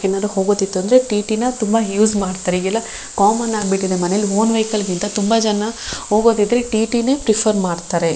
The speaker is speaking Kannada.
ಏನಾರು ಹೋಗೋದಿತ್ತು ಅಂದ್ರೆ ಟಿಟಿನ ತುಂಬಾ ಯೂಸ್ ಮಾಡ್ತಾರೆ ಎಗ್ ಎಲ್ಲ ಕಾಮನ್ ಆಗಿ ಬಿಟ್ಟಿದೆ ಮನೇಲ್ ಓನ್ ವೆಹಿಕಲ್ ಗಿಂತ ತುಂಬಾ ಜನ ಹೋಗೋದಿದ್ರೆ ಟಿಟಿನೇ ಪ್ರಿಫರ್ ಮಾಡ್ತಾರೆ.